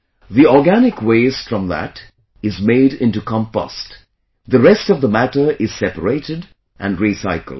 The organic waste from that is made into compost; the rest of the matter is separated and recycled